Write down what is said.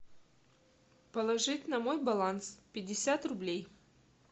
положить на мой баланс пятьдесят рублей